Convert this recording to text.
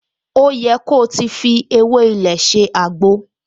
O yẹ ko ti fi ewé ilé ṣe àgbo!